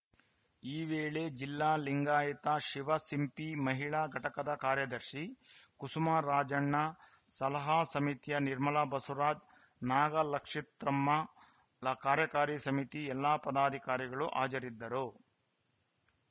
ಈ ವೇಳೆ ಜಿಲ್ಲಾ ಲಿಂಗಾಯತ ಶಿವಸಿಂಪಿ ಮಹಿಳಾ ಘಟಕದ ಕಾರ್ಯದರ್ಶಿ ಕುಸುಮ ರಾಜಣ್ಣ ಸಲಹಾ ಸಮಿತಿಯ ನಿರ್ಮಲ ಬಸವರಾಜ್‌ ನಾಗಲಕ್ಷಿತ್ರ್ಮ ಕಾರ್ಯಕಾರಿ ಸಮಿತಿಯ ಎಲ್ಲಾ ಪದಾಧಿಕಾರಿಗಳು ಹಾಜರಿದ್ದರು